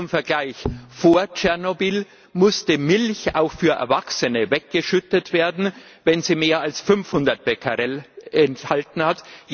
Zum Vergleich Vor Tschernobyl musste Milch auch für Erwachsene weggeschüttet werden, wenn sie mehr als 500 Becquerel enthalten hat.